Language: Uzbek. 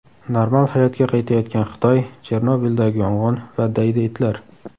Normal hayotga qaytayotgan Xitoy, Chernobildagi yong‘in va daydi itlar.